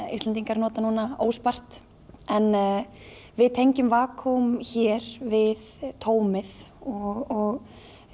Íslendingar nota núna óspart en við tengjum hér við tómið og